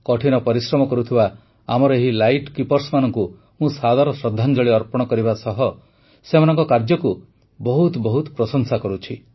କଠିନ ପରିଶ୍ରମ କରୁଥିବା ଆମର ଏହି ଲାଇଟ୍ କିପର୍ସମାନଙ୍କୁ ମୁଁ ସାଦର ଶ୍ରଦ୍ଧାଞ୍ଜଳି ଅର୍ପଣ କରିବା ସହ ସେମାନଙ୍କ କାର୍ଯ୍ୟକୁ ବହୁତ ବହୁତ ପ୍ରଶଂସା କରୁଛି